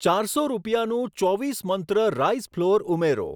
ચારસો રૂપિયાનું ચોવીસ મંત્ર રાઈસ ફ્લોર ઉમેરો.